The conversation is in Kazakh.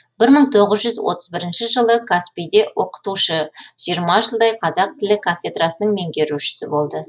бір мың тоғыз жүз отыз бірінші жылы қаспиде оқытушы жиырма жылдай қазақ тілі кафедрасының меңгерушісі болды